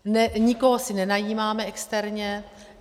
Nikoho si nenajímáme externě.